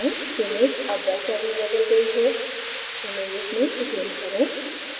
image अब vector में बदल गयी है images में zoom करें